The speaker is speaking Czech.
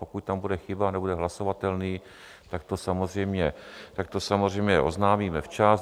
Pokud tam bude chyba, nebude hlasovatelný, tak to samozřejmě oznámíme včas.